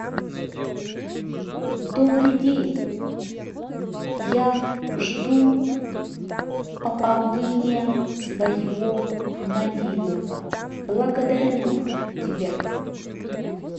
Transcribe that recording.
добрый день я жду пополнения своего мобильного благодарю тебя